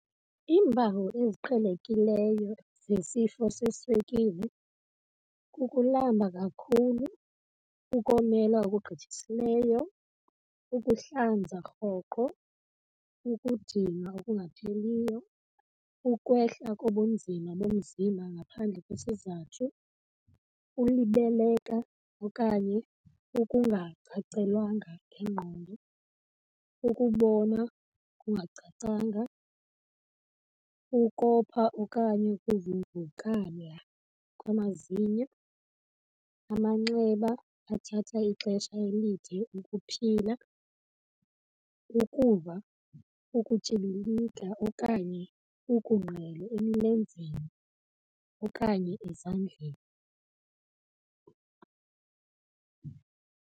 Iimpawu eziqhelekileyo zesifo seswekile ukulamba kakhulu, ukomela okugqithisileyo, ukuhlanza rhoqo, ukudinwa okungapheliyo, ukwehla kobunzima bomzimba ngaphandle kwesizathu, ulibeleka okanye ukungacacelwanga ngengqondo, ukubona okungacacanga, ukopha okanye ukuvuvukala kwamazinyo, amanxeba athatha ixesha elide ukuphila, ukuva ukutyhibilika okanye ukungqele emlenzeni okanye ezandleni.